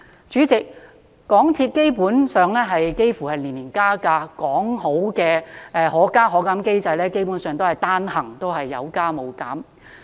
主席，港鐵基本上年年加價，說好的"可加可減"機制，基本上只是單行加價，沒有減價。